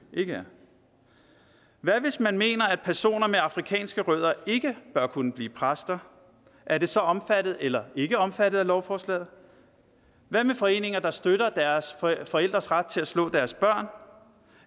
ikke er hvad hvis man mener at personer med afrikanske rødder ikke bør kunne blive præster er det så omfattet eller ikke omfattet af lovforslaget hvad med foreninger der støtter forældres ret til at slå deres børn